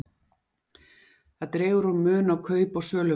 það dregur úr mun á kaup og söluverði